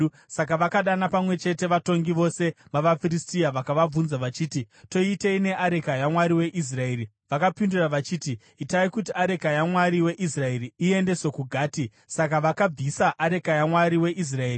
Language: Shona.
Saka vakadana pamwe chete vatongi vose vavaFiristia vakavabvunza vachiti, “Toitei neareka yaMwari weIsraeri?” Vakapindura vachiti, “Itai kuti areka yaMwari weIsraeri iendeswe kuGati.” Saka vakabvisa areka yaMwari weIsraeri.